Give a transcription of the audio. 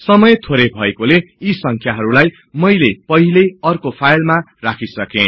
समय थोरै भएकोले यी संख्याहरुलाई मैले पहिलै अर्को फाईलमा राखिसके